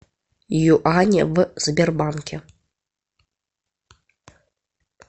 юани в сбербанке